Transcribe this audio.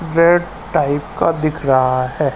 वह टाइप का दिख रहा है।